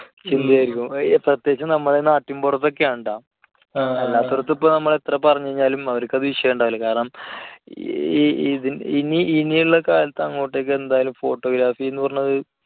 ആയിരിക്കും. പ്രത്യകിച്ച് നമ്മുടെ നാട്ടിൻപുറത്തൊക്കെ ആണ് കേട്ടോ. അല്ലാത്തവർക്ക് നമ്മൾ ഇപ്പോൾ എത്ര പറഞ്ഞുകഴിഞ്ഞാലും അവർക്കത് വിഷയമുണ്ടാകില്ല. കാരണം ഈ ഇതി~ഇനിയുള്ള കാലത്ത് അങ്ങോട്ടേയ്ക്ക് എന്തായാലും photography എന്ന് പറയുന്നത്